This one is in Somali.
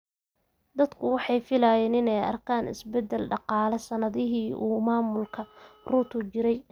Dadku waxay filayaan inay arkaan isbeddel dhaqaale sannadihii uu maamulka Ruto jiray.